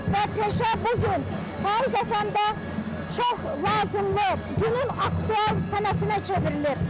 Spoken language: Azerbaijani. Və peşə bu gün həyatımızda çox lazımlı, günün aktual sənətinə çevrilib.